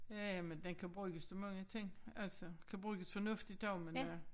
Ja ja men den kan bruges til mange ting altså kan bruges fornuftigt også men øh